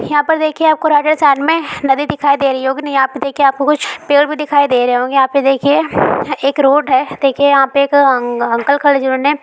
यहां पर देखिए आपको राजस्थान में नदी दिखाई दे रही होगी ईहा पे देखिए आपको कुछ पेड़ भी दिखाई दे रहे होंगे यहां पे देखिए एक रोड है देखिए यहां पे एक आन अंकल खड़े जिन्होंने।